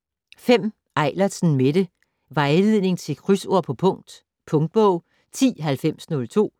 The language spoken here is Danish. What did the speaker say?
Eilertsen, Mette: Vejledning til krydsord på punkt Punktbog 109002